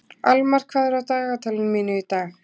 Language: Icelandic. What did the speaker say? Almar, hvað er í dagatalinu mínu í dag?